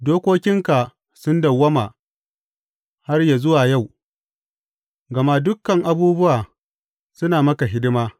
Dokokinka sun dawwama har yă zuwa yau, gama dukan abubuwa suna maka hidima.